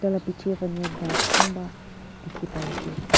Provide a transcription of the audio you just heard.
la piche phane ghas kunba dikhi pai ase.